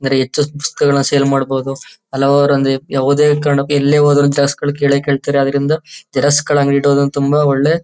ಬರಿ ಹೆಚ್ಚು ಪುಸ್ತಕಗಳನ್ನ ಸೇಲ್ ಮಾಡಬೋದು ಹಲವಾರು ಮಂದಿ ಯಾವುದೇ ಕಾರಣಕ್ಕೂ ಎಲ್ಲೇ ಹೋದರು ಜಾಸ್ತಿ ದುಡ್ಡು ಕೇಳೇ ಕೇಳ್ತಾರೆ ಆದ್ದರಿಂದ ಜೆರಾಕ್ಸ್ ಅಂಗಡಿ ಇಟ್ ಕೊಳ್ಳೋದು ತುಂಬಾ ಒಳ್ಳೆ--